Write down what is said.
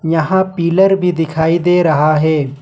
यहां पिलर भी दिखाई दे रहा है।